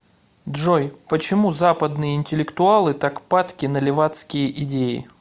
джой почему западные интеллектуалы так падки на левацкие идеи